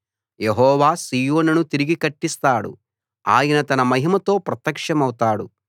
యెహోవా సీయోనును తిరిగి కట్టిస్తాడు ఆయన తన మహిమతో ప్రత్యక్షమవుతాడు